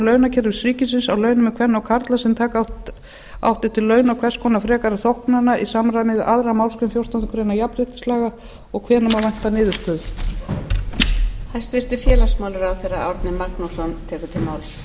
launakerfis ríkisins á launamun kvenna og karla sem taka átti til launa og hvers konar frekari þóknana í samræmi við aðra málsgrein fjórtándu grein jafnréttislaga og hvenær má vænta niðurstöðu